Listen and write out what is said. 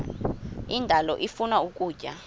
indalo ifuna ukutya